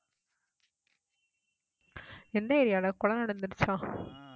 எந்த area டா கொலை நடந்திடுச்சா